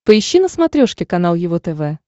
поищи на смотрешке канал его тв